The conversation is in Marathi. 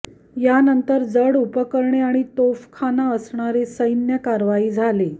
यानंतर जड उपकरणे आणि तोफखाना असणारी सैन्य कारवाई झाली